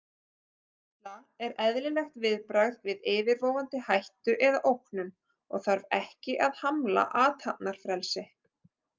Hræðsla er eðlilegt viðbragð við yfirvofandi hættu eða ógnun og þarf ekki að hamla athafnafrelsi.